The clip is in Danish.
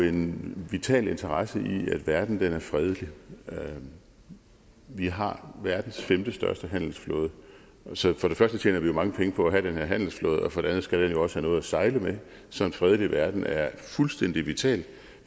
en vital interesse i at verden er fredelig vi har verdens femtestørste handelsflåde så for det første tjener vi jo mange penge på at have den her handelsflåde og for det andet skal den jo også have noget at sejle med så en fredelig verden er fuldstændig vital